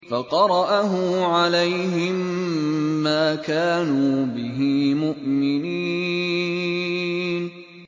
فَقَرَأَهُ عَلَيْهِم مَّا كَانُوا بِهِ مُؤْمِنِينَ